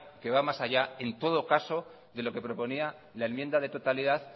que va más allá en todo caso de lo que proponía la enmienda de totalidad